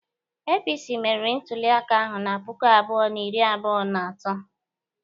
APC meriri ntuliaka ahụ na puku abụọ na iri abụọ na atọ.